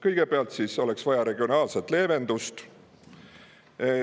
Kõigepealt oleks vaja regionaalset leevendust.